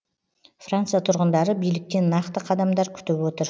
франция тұрғындары биліктен нақты қадамдар күтіп отыр